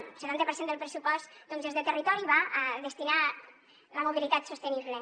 un setanta per cent del pressupost és de territori i va destinat a la mobilitat sostenible